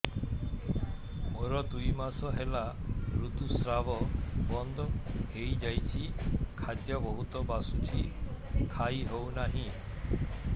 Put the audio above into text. ମୋର ଦୁଇ ମାସ ହେଲା ଋତୁ ସ୍ରାବ ବନ୍ଦ ହେଇଯାଇଛି ଖାଦ୍ୟ ବହୁତ ବାସୁଛି ଖାଇ ହଉ ନାହିଁ